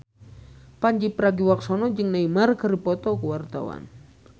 Pandji Pragiwaksono jeung Neymar keur dipoto ku wartawan